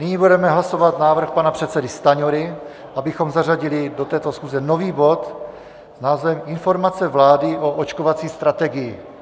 Nyní budeme hlasovat návrh pana předsedy Stanjury, abychom zařadili do této schůze nový bod s názvem Informace vlády o očkovací strategii.